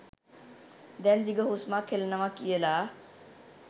දැන් දිග හුස්මක් හෙලනවා කියල.